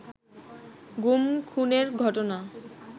গুম-খুনের ঘটনা